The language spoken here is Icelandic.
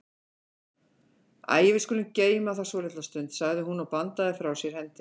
Æi, við skulum geyma það svolitla stund, sagði hún og bandaði frá sér hendinni.